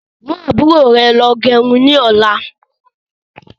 Mú àbúrò rẹ lọ gẹrun ni ọ̀la.